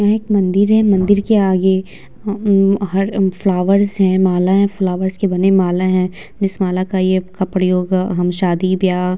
यहाँ एक मंदिर है मंदिर के आगे अ अम्म हर अ फ्लावर्स हैं मालाएँ फ्लावर्स के बने माला हैं जिस माला ये का प्रयोग हम शादी-ब्याह --